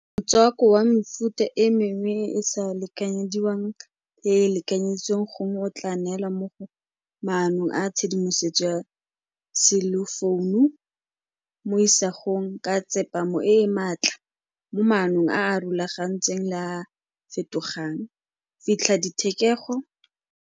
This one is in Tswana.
Motswako wa mefuta e mengwe e e sa lekanyediwang e e lekanyeditsweng, gongwe o tla neela mo go maano a tshedimosetso ya selefounu mo isagong ka tsepamo e e maatla mo maemong a a rulagantsweng le a a fetogang, fitlha dithekego.